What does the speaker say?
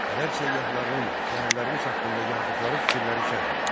Ərəb səyyahlarının şəhərlərimiz haqqında yazdıqları fikirləri şərh et.